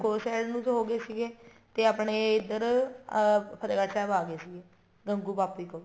ਚਮਕੋਰ ਸਾਹਿਬ ਨੂੰ ਹੋ ਗਏ ਸੀਗੇ ਤੇ ਆਪਣੇ ਇੱਧਰ ਅਹ ਫਤਿਹਗੜ੍ਹ ਸਾਹਿਬ ਆ ਗਏ ਸੀਗੇ ਗੰਗੂ ਪਾਪੀ ਕੋਲ